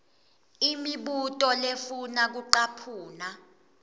imibuto lefuna kucaphuna